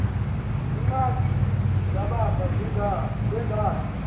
iingxaki zabantu bengazi